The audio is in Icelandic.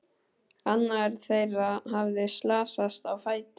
Annar þeirra hafði slasast á fæti.